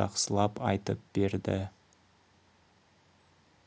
жақсылап айтып берді